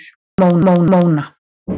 Móna